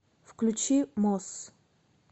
включи мосс